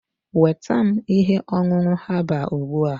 nweta m ihe ọṅụṅụ herbal ugbu a!